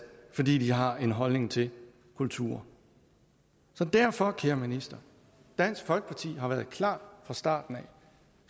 fordi de har en holdning til kultur så derfor kære minister dansk folkeparti har været klar fra starten